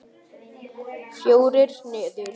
Fjórir niður!